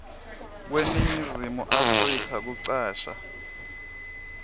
kweningizimu afrika kucasha